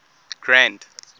grand